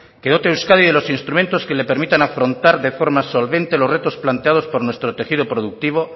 que dote a euskadi de los instrumentos que le permitan afrontar de forma solvente los retos planteados por nuestro tejido productivo